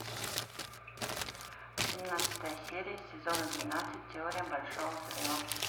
семнадцатая серия сезона двенадцать теория большого взрыва